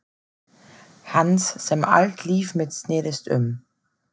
Hans sem allt líf mitt snerist um.